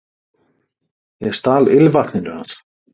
Ég stal ilmvatninu hans